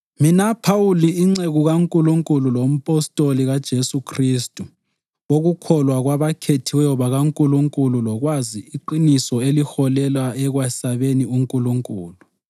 Mina Phawuli inceku kaNkulunkulu lompostoli kaJesu Khristu wokukholwa kwabakhethiweyo bakaNkulunkulu lokwazi iqiniso eliholela ekwesabeni uNkulunkulu,